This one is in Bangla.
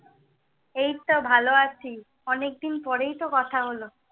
এই তো ভালো আছি। অনেক দিন পরেই তো কথা হলো।